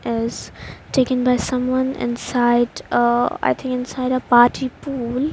Else taken by someone inside ah I think inside the party pool.